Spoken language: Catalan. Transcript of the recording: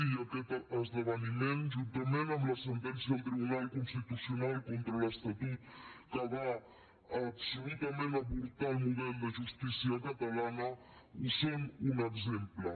i aquest esdeveniment juntament amb la sentència del tribunal constitucional contra l’estatut que va absolutament avortar el model de justícia catalana en són un exemple